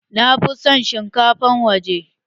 Na fi son shinkafar waje.